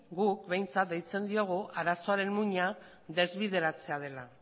guk behintzat deitzen diogu arazoaren muina desbideratzea dela